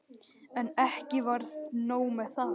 En ekki var nóg með það.